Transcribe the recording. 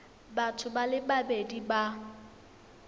batho ba le babedi ba